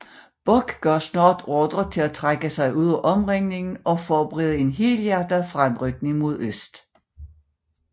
Bock gav snart ordre til at trække sig ud af omringningen og forberede en helhjertet fremrykning mod øst